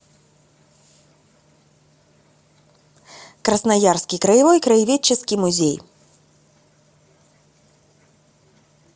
красноярский краевой краеведческий музей